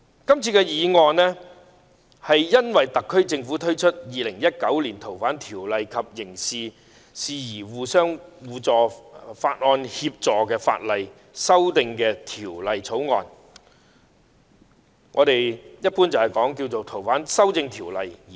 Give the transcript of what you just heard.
這項議案的起因是特區政府推出《2019年逃犯及刑事事宜相互法律協助法例條例草案》，即一般稱為《逃犯條例》的修訂。